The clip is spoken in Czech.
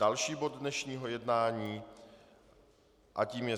Další bod dnešního jednání a tím je